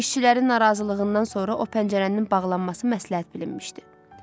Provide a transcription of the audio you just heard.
İşçilərin narazılığından sonra o pəncərənin bağlanması məsləhət bilinmişdi.